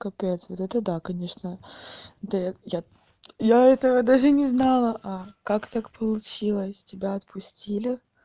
капец вот это да конечно да я я этого даже не знала а как так получилось тебя отпустили